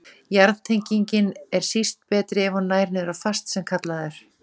Jarðtenging er síst betri ef hún nær niður á fast sem kallað er.